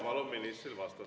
Palun ministril vastata.